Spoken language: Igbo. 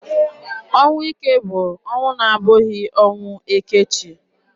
Ọnwụ ike bụ ọnwụ na-abụghị ọnwụ eke chi.